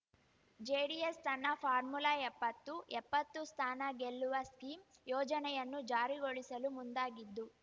JDS ತನ್ನ formula ಎಪ್ಪತ್ತು ಎಪ್ಪತ್ತು ಸ್ಥಾನ ಗೆಲ್ಲುವ ಸ್ಕೀಮ್‌ ಯೋಜನೆಯನ್ನು ಜಾರಿಗೊಳಿಸಲು ಮುಂದಾಗಿದ್ದು